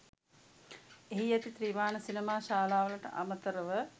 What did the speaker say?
එහි ඇති ත්‍රිමාණ සිනමා ශාලාවලට අමතරව